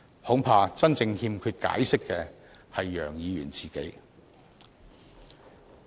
恐怕真正欠缺解釋的是楊議員自己。